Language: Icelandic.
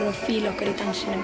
og fíla okkur í dansinum